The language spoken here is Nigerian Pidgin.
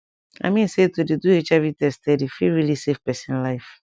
i mean say to dey do hiv test steady fit really save pesin life